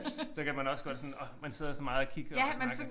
Så kan man også godt sådan åh man sidder sådan meget og kigger og snakker